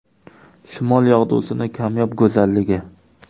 Shimol yog‘dusining kamyob go‘zalligi.